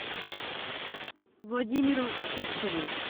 владимиру сивцеву